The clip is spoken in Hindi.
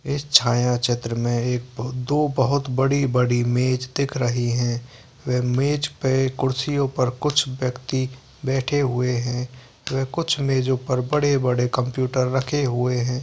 इस छाया चित्र में एक बहुत दो बहुत बड़ी-बड़ी मेज दिख रही है वे मेज पे कुर्सियों पर कुछ व्यक्ति बैठे हुए है वे कुछ मेजों पर बड़े-बड़े कंप्यूटर रखे हुए हैं।